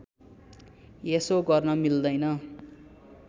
यसो गर्न मिल्दैन